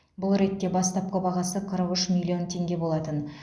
бұл ретте бастапқы бағасы қырық үш миллион теңге болатын